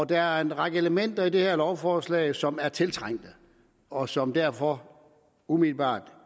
der er en række elementer i det her lovforslag som er tiltrængte og som derfor umiddelbart